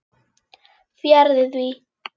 Fjarri því.